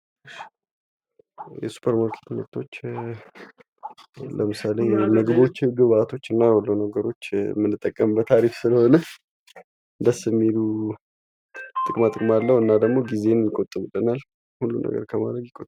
የሱፐር ማርኬት ምርቶች ለምሳሌ ምግቦች ግብአቶችና ሁሉ ነገሮች የምንጠቀምበት አሪፍ ስለሆነ ደስ የሚሉ ጥቅማጥቅም አለው እና ደግሞ ጊዜን ይቆጥብልናል። ሁሉን ነገር ከማድረግ